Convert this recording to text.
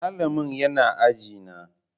Malamin yana aji na.